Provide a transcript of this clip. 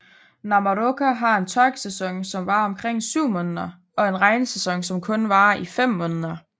Namoroka har en tørkesæson som varer omkring syv måneder og en regnsæson som kun varer i fem måneder